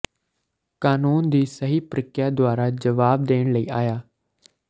ਕਾਨੂੰਨ ਦੀ ਸਹੀ ਪ੍ਰਕ੍ਰਿਆ ਦੁਆਰਾ ਜਵਾਬ ਦੇਣ ਲਈ ਆਇਆ